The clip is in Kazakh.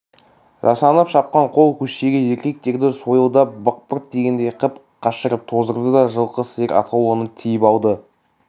жасанып шапқан қол көштегі еркектерді сойылдап бықпырт тигендей қып қашырып тоздырды да жылқы сиыр атаулыны тиіп алды